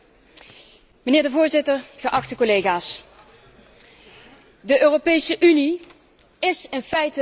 Voorzitter, geachte collega's, de Europese Unie is in feite al failliet.